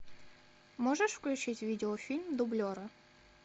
можешь включить видеофильм дублеры